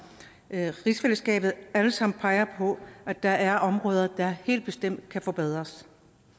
rigsfællesskabet alle sammen peger på at der er områder der helt bestemt kan forbedres